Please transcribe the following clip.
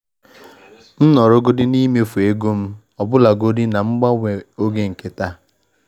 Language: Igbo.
M nọrọ n'ime mmefu ego m ọbụlagodi na mgbanwe oge nke taa.